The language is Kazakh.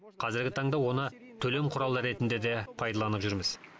қазіргі таңда оны төлем құралы ретінде де пайдаланып жүрміз